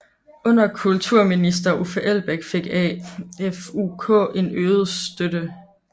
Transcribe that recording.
Under kulturminister Uffe Elbæk fik AFUK en øget støtte